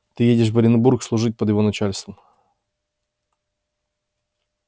ты едешь в оренбург служить под его начальством